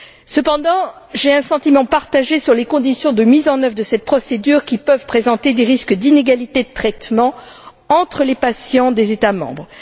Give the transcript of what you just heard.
Cependant, j'ai un sentiment partagé sur les conditions de mise en œuvre de cette procédure qui peuvent présenter des risques d'inégalité de traitement entre les patients des États membres.